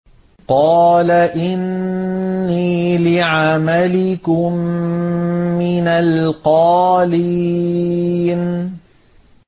قَالَ إِنِّي لِعَمَلِكُم مِّنَ الْقَالِينَ